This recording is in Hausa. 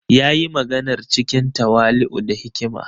Ya yi maganar cikin tawali’u da hikima.